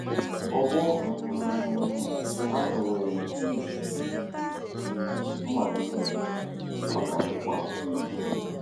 Ọgbọ um ahụ nwere mmalite, ọ ga-agwụkwa agwụ.